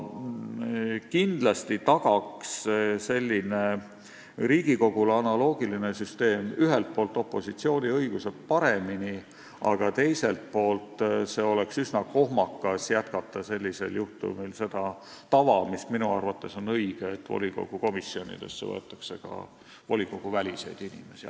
Kindlasti tagaks Riigikogu süsteemiga analoogiline süsteem ühelt poolt paremini opositsiooni õigusi, aga teiselt poolt oleks üsna kohmakas jätkata sellisel juhtumil seda tava, mis minu arvates on õige, et volikogu komisjonidesse võetakse ka volikoguväliseid inimesi.